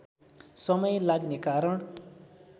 समय लाग्ने कारण